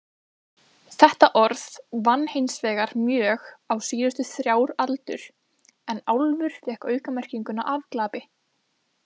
Þetta orð vann hinsvegar mjög á síðustu þrjár aldur en álfur fékk aukamerkinguna afglapi.